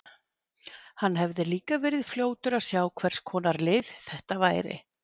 Hann hefði líka verið fljótur að sjá hvers konar lið þetta væri.